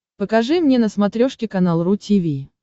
покажи мне на смотрешке канал ру ти ви